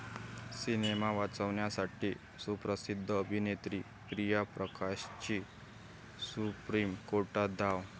Cinema वाचवण्यासाठी सुप्रसिद्ध अभिनेत्री प्रिया प्रकाशची सुप्रीम कोर्टात धाव!